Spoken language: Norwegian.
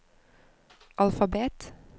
alfabet